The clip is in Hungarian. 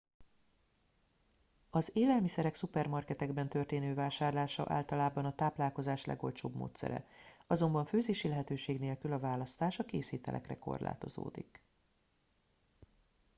az élelmiszerek szupermarketekben történő vásárlása általában a táplálkozás legolcsóbb módszere azonban főzési lehetőség nélkül a választás a készételekre korlátozódik